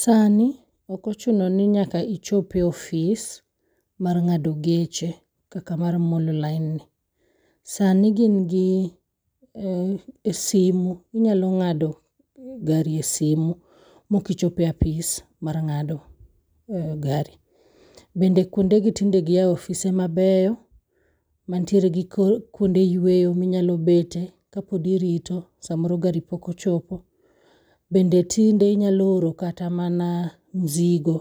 Sani ok ochuno ni nyaka ichop e office mar ng'ado geche kaka mar mololine ni. Sani ka in gi simu inyalo ng'ado gari e simu mok ochopo e office mar ng'ado gari. Bende kuonde gi tinde giyawo ofise mabeyo mantiere gi kuonde yueyo kapod irito samoro garo pok ochopo. Bende tinde inyalo oro kata mana mzigo